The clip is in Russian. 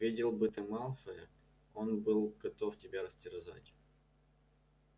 видел бы ты малфоя он был готов тебя растерзать